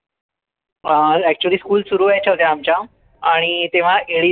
अं actuallyschool सुरु व्हायच्या होत्या आमच्या आणि तेव्हा eli